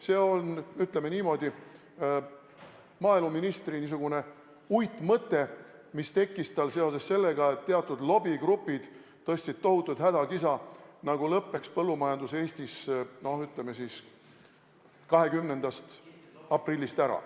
See on, ütleme niimoodi, maaeluministri uitmõte, mis tekkis tal seoses sellega, et teatud lobigrupid tõstsid tohutut hädakisa, nagu lõppeks põllumajandus Eestis, no ütleme siis, 20. aprillist ära.